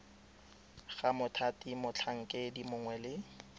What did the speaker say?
ga mothati motlhankedi mongwe le